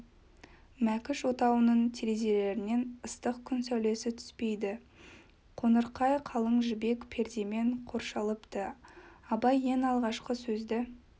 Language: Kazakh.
мәкіш отауының терезелерінен ыстық күн сәулесі түспейді қонырқай қалың жібек пердемен қоршалыпты абай ең алғашқы сөзді